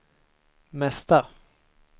mesta